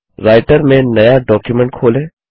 writer में नया document खोलें